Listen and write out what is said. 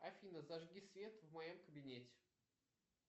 афина зажги свет в моем кабинете